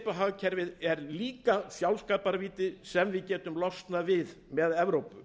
kollsteypuhagkerfið er líka sjálfskaparvíti sem við getum losnað við með evrópu